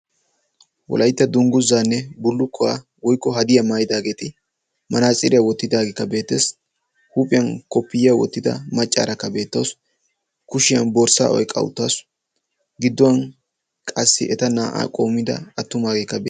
Wolaytta dungguzanne bulukkuwaa woykko haddiyaa maayyidaageeti manatsiriyaa wottidaageekka beettes. huuphphiyaan koppiyyiyaa wottidaara maccaarakka beettawus, kushiyaan borssa oyqqa uttaasu, gidduwan qassi eta naa''a qoommida attumaageekka de...